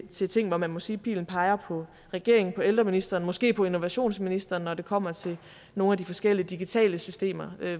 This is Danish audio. til ting hvor man må sige at pilen peger på regeringen på ældreministeren måske på innovationsministeren når det kommer til nogle af de forskellige digitale systemer